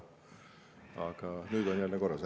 Aga nüüd on jälle korras.